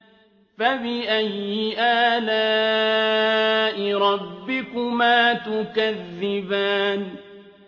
فَبِأَيِّ آلَاءِ رَبِّكُمَا تُكَذِّبَانِ